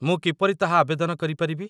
ମୁଁ କିପରି ତାହା ଆବେଦନ କରିପାରିବି?